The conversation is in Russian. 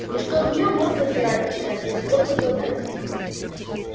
и что от неё мозг отмирать начинает если долго глотать